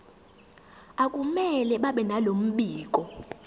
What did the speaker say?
akumele babenalo mbiko